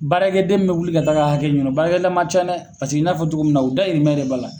Baarakɛden min bi wuli ka taa ka hakɛ ɲini o baarakɛla ma ca dɛ paseke n'a fɔ cogoya min na u dahirimɛl de b'a la.